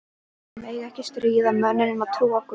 Að mega ekki stríða mönnum sem trúa á guð?